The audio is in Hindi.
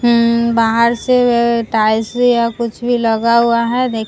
बाहर से टाइल्स भी या कुछ भी लगा हुआ है देख --